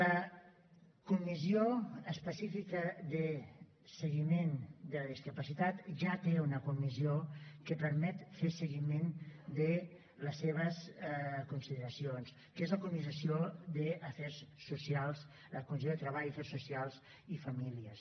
la comissió específica de seguiment de la discapacitat ja té una comissió que permet fer seguiment de les seves consideracions que és la comissió de treball afers socials i famílies